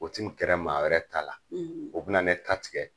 O tɛ gɛra maa wɛrɛ ta la, , o bɛna ne ta tigɛ.